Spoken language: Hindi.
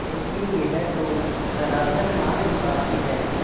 लेकिन यह तो सरासर नाइंसाफ़ी है